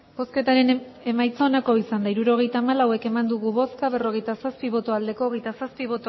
hirurogeita hamalau eman dugu bozka berrogeita zazpi bai hogeita zazpi